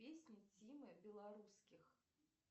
песни тимы белорусских